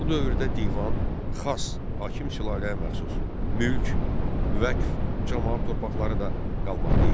Bu dövrdə Divan, Xas (hakim sülaləyə məxsus), Mülk, Vəqf, Camaat torpaqları da qalmaqda idi.